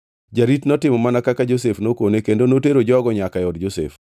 Jarit notimo mana kaka Josef nokone kendo notero jogo nyaka e od Josef.